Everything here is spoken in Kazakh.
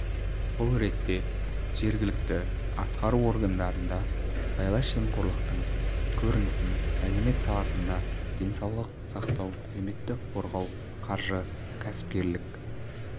бұл ретте жергілікті атқару органдарында сыбайлас жемқорлықтың көрінісін мәдениет саласында денсаулық сақтау әлеуметтік қорғау қаржы кәсіпкерлік